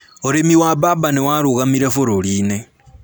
Ūrĩmi wa mbamba nĩ warũgamire bũrũri-inĩ